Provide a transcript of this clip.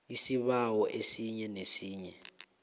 isibawo esinye nesinye